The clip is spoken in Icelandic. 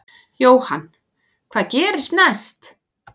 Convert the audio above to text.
Jóhann: Hvað gerist næst?